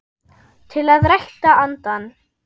til að rækta andann